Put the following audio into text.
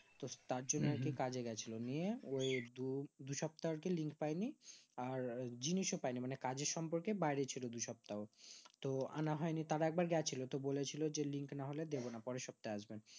তো তার জন্য হয় তো কাজে গেছিলো নিয়ে ওই দু দু সপ্তাহ হয় তো link পাইনি আর জিনিসও পাইনি মানে কাজের সম্পর্কে বাইরে ছিল দু সপ্তাহ তো আনা হয় নি তারা এক বার গেছিলো তো বলেছিলো যে link না হলে দিবোনা পরের সপ্তাহে আসবেন